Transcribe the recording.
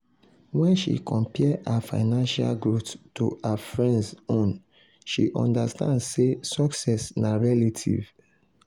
wen she compare her financial growth to her friends own she understand sey success na relative.